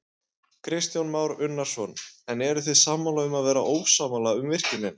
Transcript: Kristján Már Unnarsson: En þið eruð sammála um að vera ósammála um virkjunina?